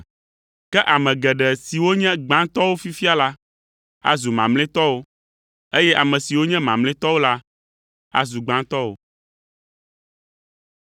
Ke ame geɖe siwo nye gbãtɔwo fifia la, azu mamlɛtɔwo, eye ame siwo nye mamlɛtɔwo la, azu gbãtɔwo.”